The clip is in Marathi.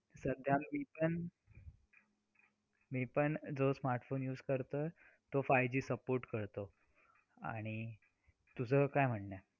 तातडली विज असते आणि बर का तिच्या गर्भात साऱ्या भविष्याचे बीज असते .स्त्री म्हणजे एक शक्ती असते. स्त्रीमध्ये अफाट शक्ती असते असे महान आपण म्हणतो.